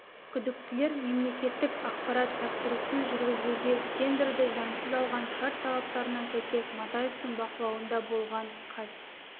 күдіктілер мемлекеттік ақпарат тапсырысын жүргізуге тендерді заңсыз алған шарт талаптарына сәйкес матаевтың бақылауында болған қаз